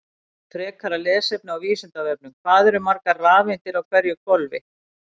Frekara lesefni á Vísindavefnum: Hvað eru margar rafeindir á hverju hvolfi?